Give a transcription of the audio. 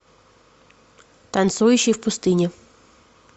танцующий в пустыне